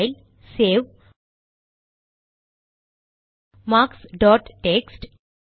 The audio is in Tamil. பைல் சேவ் மார்க்ஸ்டாட் டெக்ஸ்ட்